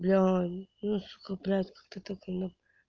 бля кто такой